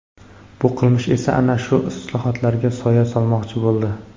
Bu qilmish esa ana shu islohotlarga soya solmoqchi bo‘ldi.